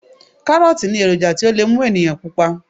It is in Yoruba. Kárọ́ọ̀tì ní èròjà tí ó lè mú ènìyàn pupa